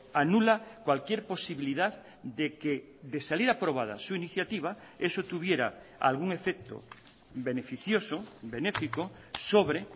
anula cualquier posibilidad de que de salir aprobada su iniciativa eso tuviera algún efecto beneficioso benéfico sobre